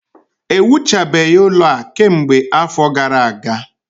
Ewuchabeghị ụlọ a kemgbe afọ gara aga